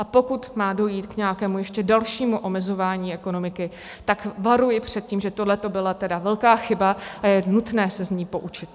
A pokud má dojít k nějakému ještě dalšímu omezování ekonomiky, tak varuji před tím, že tohleto byla tedy velká chyba a je nutné se z ní poučit.